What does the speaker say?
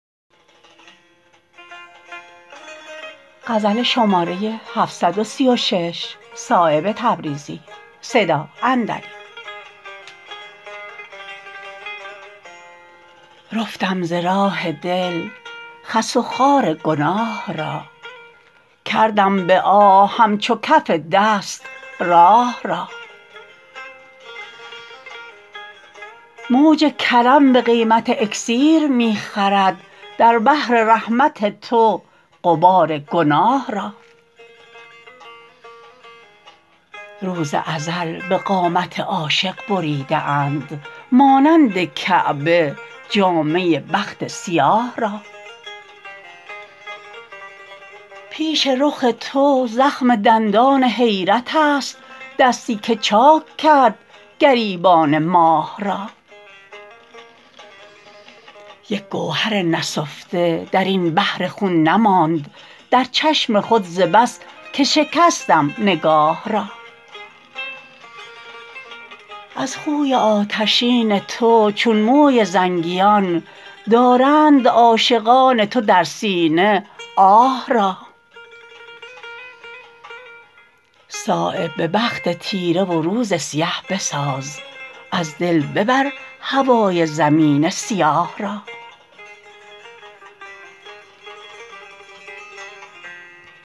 رفتم ز راه دل خس و خار گناه را کردم به آه همچو کف دست راه را موج کرم به قیمت اکسیر می خرد در بحر رحمت تو غبار گناه را روز ازل به قامت عاشق بریده اند مانند کعبه جامه بخت سیاه را پیش رخ تو زخم دندان حیرت است دستی که چاک کرد گریبان ماه را یک گوهر نسفته درین بحر خون نماند در چشم خود ز بس که شکستم نگاه را از خوی آتشین تو چون موی زنگیان دارند عاشقان تو در سینه آه را صایب به بخت تیره و روز سیه بساز از دل ببر هوای زمین سیاه را